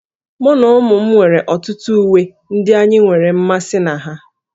Mụ na ụmụ m nwere ọtụtụ uwe ndị anyị nwere mmasị na ha